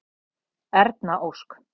Erna Ósk.